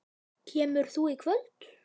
Kemur þú í kvöld?